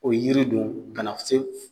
O yiri don kana se